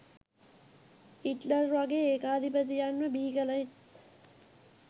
Hitler වගේ ඒකාධිපතියන්ව බිහි කලෙත්